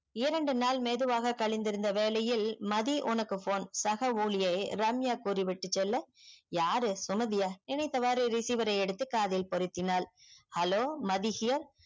இரண்டு நாள் மெதுவாக களிந்துருந்த வேலையில் மதி உனக்கு phone சக உளியே ரம்யா கூறி விட்டு செல்ல யாரு சுமதியா நினைத்தவாறு receiver எடுத்து காதில் பொருத்தினால் hello மதி hear